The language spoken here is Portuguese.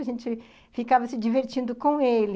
A gente ficava se divertindo com ele.